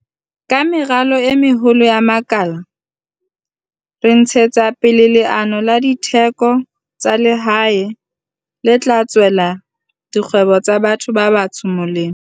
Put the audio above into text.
Ka meralo e meholo ya makala re ntshetsa pele leano la ditheko tsa lehae le tla tswela dikgwebo tsa batho ba batsho molemo.